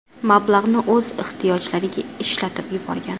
Mablag‘ni o‘z ehtiyojlariga ishlatib yuborgan.